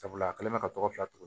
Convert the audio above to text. Sabula a kɛlen bɛ ka tɔgɔ fila turu